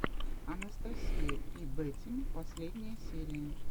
анастасия пи бэтим последняя серия